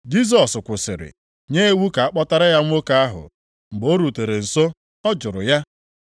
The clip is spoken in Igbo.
Jisọs kwụsịrị, nye iwu ka a kpọtara ya nwoke ahụ. Mgbe o rutere nso, ọ jụrụ ya,